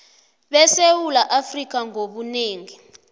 besewula afrika ngobunengi